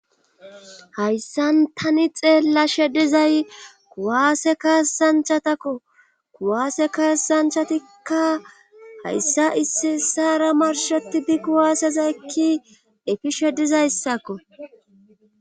hayssan tani xeellashe dizay kuwaase kaasanchatakko kuwaase kaasachatikka hayssa issi issaara marshetidi kuwaaseza ekki efishe dizayssako.